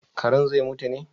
Karen zai mutu ne?